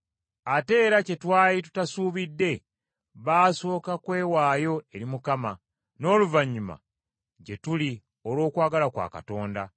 Ate era kye twali tutasuubidde, baasooka kwewaayo eri Mukama, n’oluvannyuma gye tuli olw’okwagala kwa Katonda.